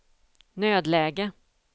nödläge